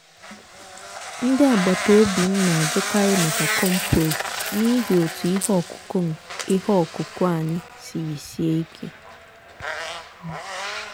ndị agbata obi m n'ajụkarị maka compost n'ihi otú ihe ọkụkụ ihe ọkụkụ anyị siri sie ike.